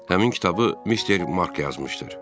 Həmin kitabı Mr Mark yazmışdır.